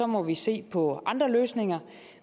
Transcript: må vi se på andre løsninger